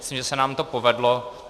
Myslím, že se nám to povedlo.